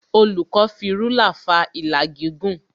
Olùkọ́ fi rúlà fa ìlà gígùn